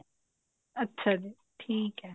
ਅੱਛਾ ਜੀ ਠੀਕ ਹੈ